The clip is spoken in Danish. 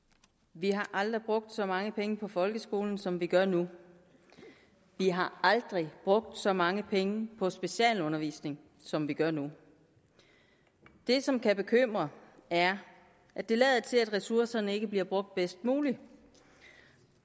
vi har aldrig brugt så mange penge på folkeskolen som vi gør nu vi har aldrig brugt så mange penge på specialundervisning som vi gør nu det som kan bekymre er at det lader til at ressourcerne ikke bliver brugt bedst muligt